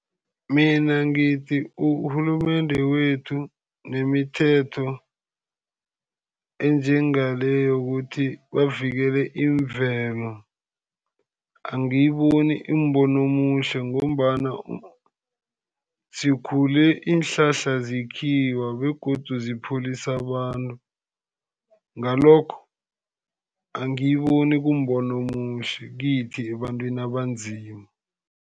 Mina ngithi urhulumende wethu nemithetho enjengale yokuthi bavikele imvelo, angiyiboni imbono omuhle ngombana sikhule iinhlahla zikhiwa, begodu zipholisa abantu. Ngalokho, angiyiboni kumbono omuhle kithi ebantwini abanzima.